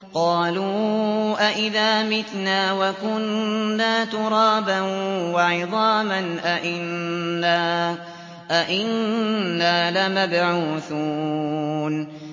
قَالُوا أَإِذَا مِتْنَا وَكُنَّا تُرَابًا وَعِظَامًا أَإِنَّا لَمَبْعُوثُونَ